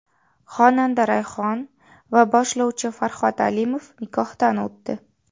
Xonanda Rayhon va boshlovchi Farhod Alimov nikohdan o‘tdi .